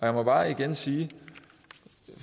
jeg bare igen sige